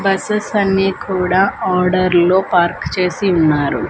Buses అన్ని కూడా ఆర్డర్లో పార్క్ చేసి ఉన్నారు.